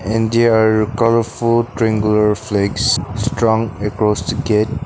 and there are colourful triangular flex strong across the gate.